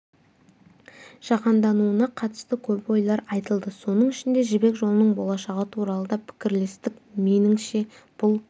жаһандануына қатысты көп ойлар айтылды соның ішінде жібек жолының болашағы туралы да пікірлестік меніңше бұл